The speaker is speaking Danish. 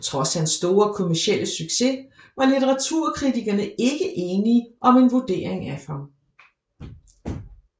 Trods hans store kommercielle succes var litteraturkritikerne ikke enige om en vurdering af ham